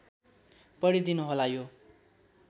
पढिदिनु होला यो